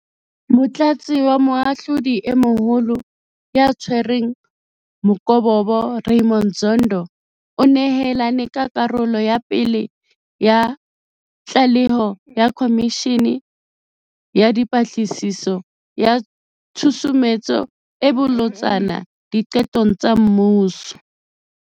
Motlatsi wa Moahlodi e Moholo ya Tshwereng Mokobobo Ra ymond Zondo o nehelane ka karolo ya pele ya tlaleho ya Khomishene ya Dipatlisiso ya Tshusumetso e Bolotsana Diqetong tsa Mmuso.